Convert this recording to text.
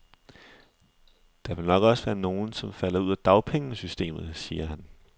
Der vil nok også være nogen, som falder ud af dagpengesystemet, siger han.